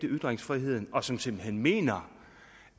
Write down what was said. ytringsfriheden og som simpelt hen mener